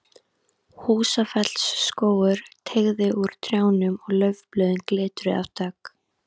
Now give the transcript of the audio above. Húsafellsskógur teygði úr trjánum og laufblöðin glitruðu af dögg.